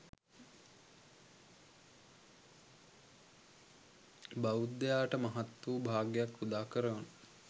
බෞද්ධයාට මහත් වූ භාග්‍යයක් උදා කරවන